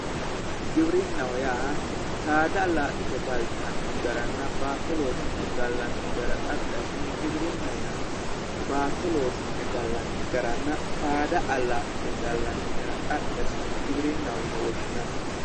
Giwirinna giwirinnaho yaa saada allaa'lite galtanno garanna baato loosi'ne gallanni gara xaphi assine giwirinna yinanni baato loosi'ne gallanni garanna saada allaa'line gallanni gara xaphi assine giwirinnaho yine woshshinanni